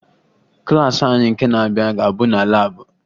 Klaasị anyị nke na-abịa ga-abụ na laabụ